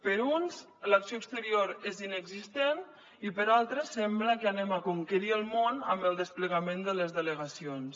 per uns l’acció exterior és inexistent i per altres sembla que anem a conquerir el món amb el desplegament de les delegacions